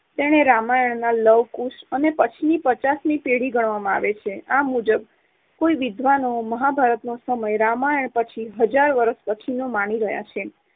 તેને રામાયણના લવ અને કુશ પછીની પચાસમી પેઢી ગણવામાં આવે છે. આ મુજબ કોઈ વિદ્વાનો મહાભારતનો સમય રામાયણ પછી હજાર વર્ષ પછીનો માની રહ્યા છે.